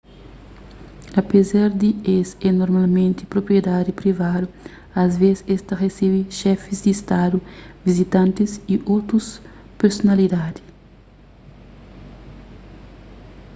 apézar di es é normalmenti propriedadi privadu asvês es ta resebe xefis di stadu vizitantis y otus personalidadi